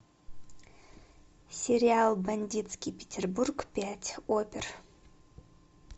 сериал бандитский петербург пять опер